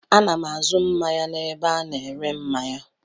Ana m azụ mmanya n'ebe a na-ere mmanya.